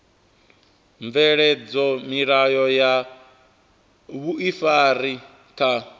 bveledza milayo ya vhuifari kha